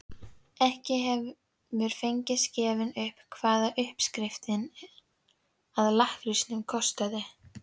Ekki hefur fengist gefið upp hvað uppskriftin að lakkrísnum kostaði.